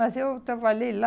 Mas eu trabalhei lá,